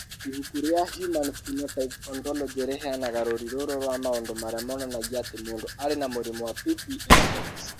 Ibuku rĩa Human Phenotype Ontology rĩheanaga rũũri rũrũ rwa maũndũ marĩa monanagia atĩ mũndũ arĩ na mũrimũ wa PPM X.